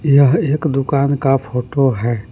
यह एक दुकान का फोटो है।